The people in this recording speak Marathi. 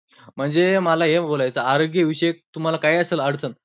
म्हणजे मला हे बोलायचं, आरोग्य विषयक तुम्हांला कांही असेल अडचण